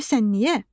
Görəsən niyə?